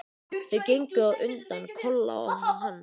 Þau gengu á undan, Kolla og hann.